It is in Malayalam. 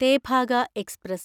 തേഭാഗ എക്സ്പ്രസ്